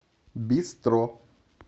бистро